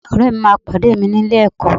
Ọ̀rẹ́ mi máa pàdé mi ní ilé-ẹ̀kọ́